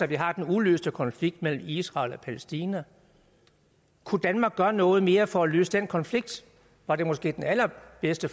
vi har den uløste konflikt mellem israel og palæstina kunne danmark gøre noget mere for at løse den konflikt var det måske den allerbedste